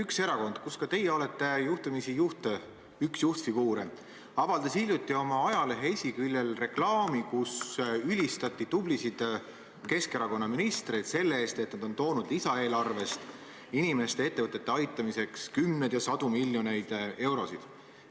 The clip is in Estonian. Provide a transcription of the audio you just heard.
Üks erakond, kus ka teie olete juhtumisi üks juhtfiguure, avaldas hiljuti oma ajalehe esiküljel reklaami, kus ülistati tublisid Keskerakonna ministreid selle eest, et nad on toonud lisaeelarvest inimeste ja ettevõtete aitamiseks kümneid ja sadu miljoneid eurosid.